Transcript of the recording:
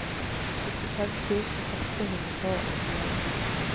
syttifem tusen åtte hundre og åttien